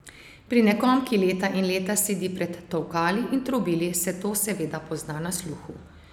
Pri nekom, ki leta in leta sedi pred tolkali in trobili, se to seveda pozna na sluhu.